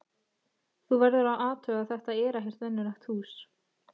Þú verður að athuga að þetta er ekkert venjulegt hús.